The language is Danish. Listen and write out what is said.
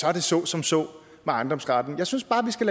er det så som så med ejendomsretten jeg synes bare vi skal